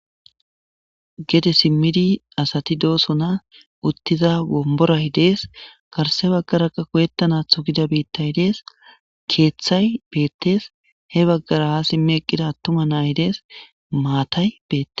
gede simmidi asati doosona uttiza womboray dees karse baggaraka koyettanathu gida biittay dees keeththay beettes he baggara ha simmi eqqida attuma naay dees maatay beette